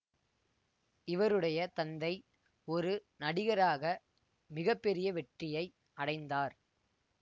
இவருடைய தந்தை ஒரு நடிகராக மிக பெரிய வெற்றியை அடைந்தார்